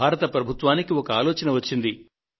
భారత ప్రభుత్వానికి ఒక ఆలోచన వచ్చింది